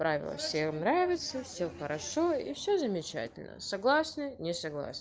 правила всем нравится все хорошо и все замечательно согласны не согласны